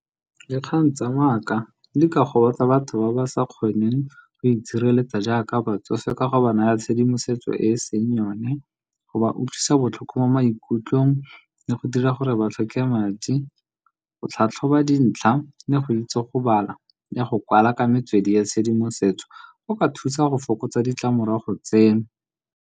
Dikgang tsa maaka di ka gobatsa batho ba ba sa kgoneng go itshireletsa jaaka batsofe. Ka go ba naya tshedimosetso e e seng yone, go ba utlwisa botlhoko mo maikutlong le go dira gore ba tlhoke madi go tlhatlhoba dintlha le go itse go bala le go kwala ka metswedi ya tshedimosetso, go ka thusa go fokotsa ditlamorago tseno.